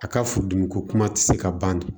A ka furudimi ko kuma ti se ka ban dun